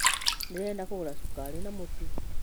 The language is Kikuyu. Ndĩrenda kũgũra sũkari na mũtũ